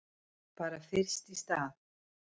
Bara fyrst í stað.